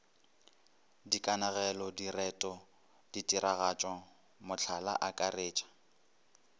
dikanegelo direto ditiragatšo mohlala akaretša